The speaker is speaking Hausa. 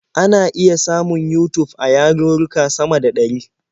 Ana iya samun Yutub a yarurruka sama da ɗari.